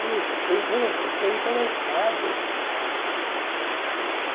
Puxa, estou intere, estou interessado.